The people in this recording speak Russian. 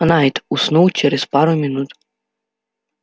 найд уснул через пару минут